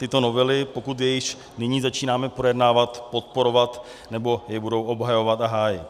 tyto novely, pokud je již nyní začínáme projednávat, podporovat nebo je budou obhajovat a hájit.